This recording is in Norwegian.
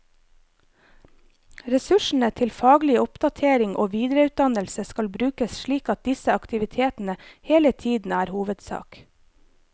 Ressursene til faglig oppdatering og videreutdannelse skal brukes slik at disse aktivitetene hele tiden er hovedsak.